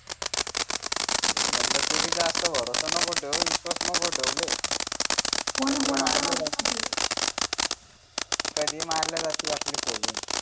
तेच म्हंटल तू भी जास्त भरोसा नको ठेऊ विश्वास नको ठेऊ लय कधी मारल्या जाती आपली खोलून